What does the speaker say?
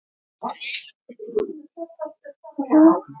Þú ert. byrjaði Lilla.